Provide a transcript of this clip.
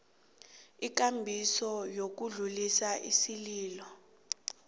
ikambiso yokudlulisa isililo